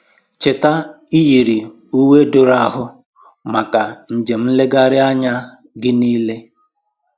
Cheta iyiri uwe doro ahụ maka njem nlegharị anya gị niile.